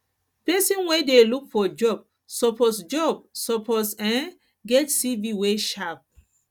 pesin wey dey look for job suppose job suppose um get cv wey sharp